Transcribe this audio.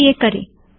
आईये यह करें